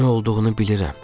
Nə olduğunu bilirəm.